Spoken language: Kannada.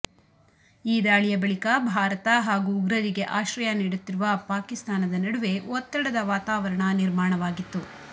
ಈ ದಾಳಿಯ ಬಳಿಕ ಭಾರತ ಹಾಗೂಉಗ್ರರಿಗೆ ಆಶ್ರಯ ನೀಡುತ್ತಿರುವ ಪಾಕಿಸ್ತಾನದ ನಡುವೆ ಒತ್ತಡದ ವಾತಾವರಣ ನಿರ್ಮಾಣವಾಗಿತ್ತು